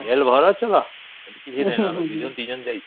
ଏଠି ଭଲ ଚେ ତ ସେଥି କିଛି ନାଇଁ ଆମେ ୨ ଜଣ ଯାଇଛୁ